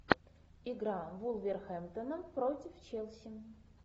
игра вулверхэмптона против челси